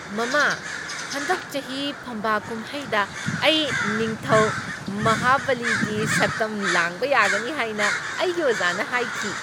ꯃꯃꯥ, ꯍꯟꯗꯛ ꯆꯍꯤ ꯐꯝꯕꯥꯛ ꯀꯨꯝꯍꯩꯗ ꯑꯩ ꯅꯤꯡꯊꯧ ꯃꯍꯥꯕꯂꯤꯒꯤ ꯁꯛꯇꯝ ꯂꯥꯡꯕ ꯌꯥꯒꯅꯤ ꯍꯥꯏꯅ ꯑꯩꯒꯤ ꯑꯣꯖꯥꯅ ꯍꯥꯏꯈꯤ꯫